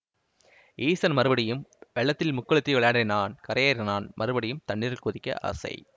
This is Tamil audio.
ஈசன் மறுபடியும் வெள்ளத்தில் முக்குளித்து விளையாடினான் கரையேறினான் மறுபடியும் தண்ணீரில் குதிக்க ஆசை